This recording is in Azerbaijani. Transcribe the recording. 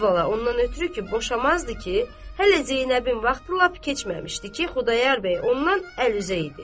Əvvəla ondan ötrü ki, boşamazdı ki, hələ Zeynəbin vaxtı lap keçməmişdi ki, Xudayar bəy ondan əl üzəydi.